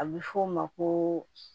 A bɛ fɔ o ma ko